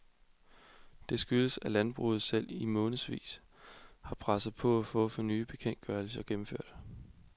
Det skyldes, at landbruget selv i månedsvis har presset på for at få de nye bekendtgørelser gennemført.